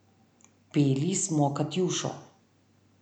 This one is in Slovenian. Peli smo Katjušo.